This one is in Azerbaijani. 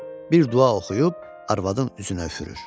Bir dua oxuyub arvadın üzünə üfürür.